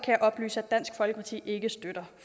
jeg oplyse at dansk folkeparti ikke støtter